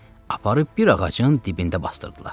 Aparıb bir ağacın dibində basdırdılar.